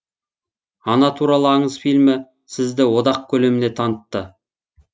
ана туралы аңыз фильмі сізді одақ көлеміне танытты